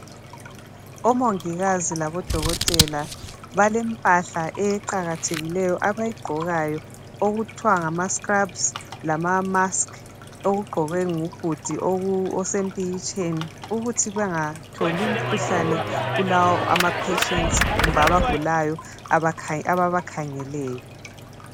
Omongikazi labodokotela balempahla eqakathekileyo abayigqokayo okuthwa ngama scrubs lama mask okugqokwe ngubhudi osempikitsheni ukuthi bengatholi imkhuhlane kulawo ama patients kumbe abagulayo ababakhangeleyo.